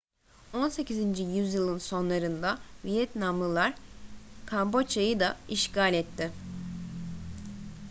18. yüzyılın sonlarında vietnamlılar kamboçya'yı da işgal etti